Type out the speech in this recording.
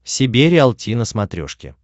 себе риалти на смотрешке